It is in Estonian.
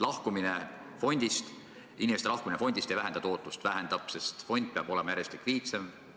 Lahkumine fondist, inimeste lahkumine fondist ei vähenda tootlust, sest fond peab olema järjest likviidsem.